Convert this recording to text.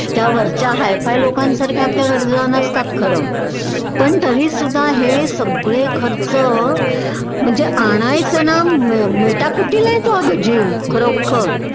त्या वरच्या हायफाय लोकांसारख्या आपल्या गरज नसतात खरं पण तरीसुद्धा हे सगळे खर्च म्हणजे आणायचं ना मेटाकुटीला येतो ग जीव खरोखर